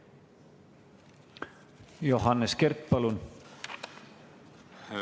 Johannes Kert, palun!